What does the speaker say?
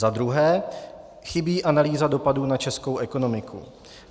Za druhé, chybí analýza dopadu na českou ekonomiku.